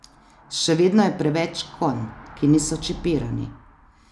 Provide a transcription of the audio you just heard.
Še vedno je preveč konj, ki niso čipirani.